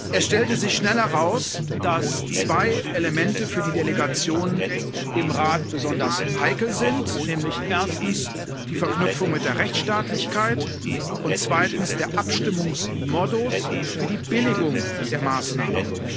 Es stellte sich schnell heraus, dass zwei Elemente für die Delegationen im Rat besonders heikel sind, nämlich erstens die Verknüpfung mit der Rechtsstaatlichkeit und zweitens der Abstimmungsmodus für die Billigung der Maßnahmen.